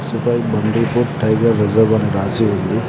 Bus పై Bandipur tiger reserve అని రాసి ఉంది.